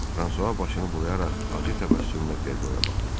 Fransua başını bulayaraq acı təbəssümlə Ferroya baxdı.